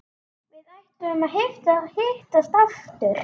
Við ætluðum að hittast aftur.